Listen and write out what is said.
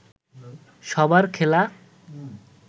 সবার খেলা